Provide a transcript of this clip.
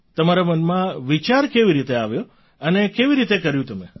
તમારા મનમાં વિચાર કેવી રીતે આવ્યો અને કેવી રીતે કર્યું તમે